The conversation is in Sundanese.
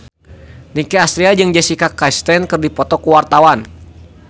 Nicky Astria jeung Jessica Chastain keur dipoto ku wartawan